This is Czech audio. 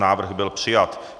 Návrh byl přijat.